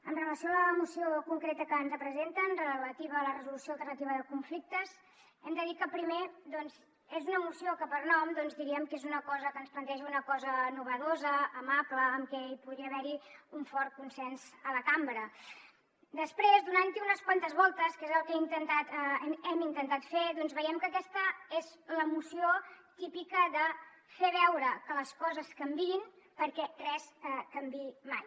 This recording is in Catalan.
amb relació a la moció concreta que ens presenten relativa a la resolució alternativa de conflictes hem de dir que primer doncs és una moció que per nom diríem que és una cosa que ens planteja una cosa nova amable en què hi podria haver un fort consens a la cambra després donant hi unes quantes voltes que és el que hem intentat fer veiem que aquesta és la moció típica de fer veure que les coses canvien perquè res canviï mai